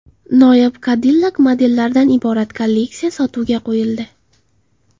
Noyob Cadillac modellaridan iborat kolleksiya sotuvga qo‘yildi.